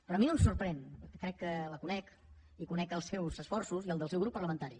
però a mi no em sorprèn perquè crec que la conec i conec els seus esforços i els del seu grup parlamentari